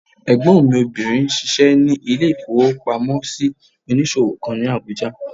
Ẹ̀gbọ́n mi obìnrin n ṣiṣẹ́ ní ilé-ìfowópamọ́sí onísòwò kan ní Àbújá